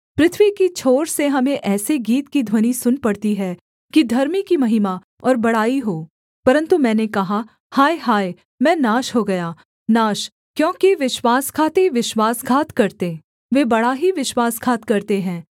पृथ्वी की छोर से हमें ऐसे गीत की ध्वनि सुन पड़ती है कि धर्मी की महिमा और बड़ाई हो परन्तु मैंने कहा हाय हाय मैं नाश हो गया नाश क्योंकि विश्वासघाती विश्वासघात करते वे बड़ा ही विश्वासघात करते हैं